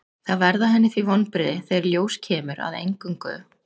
Það verða henni því vonbrigði þegar í ljós kemur að eingöngu